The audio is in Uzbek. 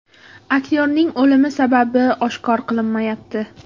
Aktyorning o‘limi sababi oshkor qilinmayapti.